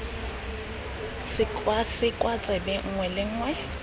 sekwasekwa tsebe nngwe le nngwe